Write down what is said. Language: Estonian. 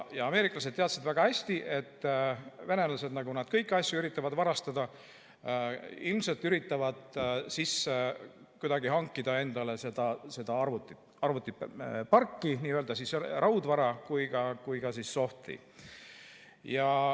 Ameeriklased teadsid väga hästi, et venelased, nagu nad kõiki asju üritavad varastada, ilmselt üritavad kuidagi hankida endale seda arvutiparki, nii raudvara kui ka soft'i.